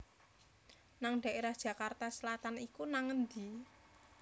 nang daerah Jakarta Selatan iku nang endi?